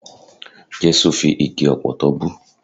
Jẹ́sù fi igi ọ̀pọ̀tọ́ bú.